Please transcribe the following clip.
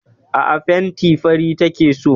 Aa, fenti fari take so